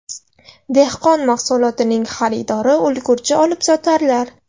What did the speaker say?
Dehqon mahsulotining xaridori ulgurji olibsotarlar.